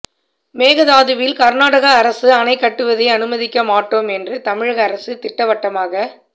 மேகதாதுவில் கர்நாடக அரசு அணை கட்டுவதை அனுமதிக்க மாட்டோம் என்று தமிழக அரசு திட்டவட்டமாக